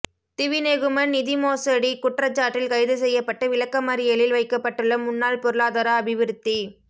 திவிநெகும நிதிமோசடி குற்றச்சாட்டில் கைது செய்யப்பட்டு விளக்கமறியலில் வைக்கப்பட்டுள்ள முன்னாள் பொருளாதார அபிவிருத்தி